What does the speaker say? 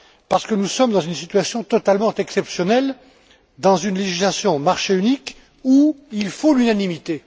Parce que nous sommes dans une situation totalement exceptionnelle, dans une législation relative au marché unique, où il faut l'unanimité.